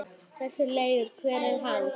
Þessi Leifur. hver er hann?